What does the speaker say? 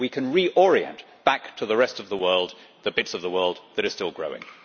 We can reorient back to the rest of the world the bits of the world that are still growing.